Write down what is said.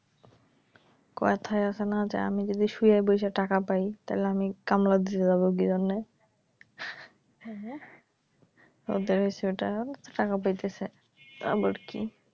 কথায় আছে না যে আমি যদি শুয়ে বইসা টাকা পাই তাইলে আমি কামলা দিতে যাবো কিজন্যে? হ্যা ওদের হইছে ওইটা টাকা পাইতেছে আবার কি